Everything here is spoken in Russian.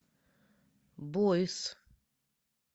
бойс